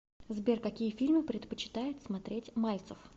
сбер какие фильмы предпочитает смотреть мальцев